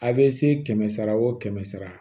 A bɛ se kɛmɛ sara o kɛmɛ sara